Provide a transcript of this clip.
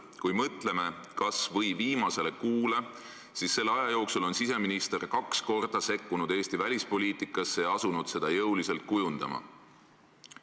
Kui mõtleme kas või viimasele kuule, siis selle aja jooksul on siseminister kaks korda sekkunud Eesti välispoliitikasse ja asunud seda jõuliselt kujundama.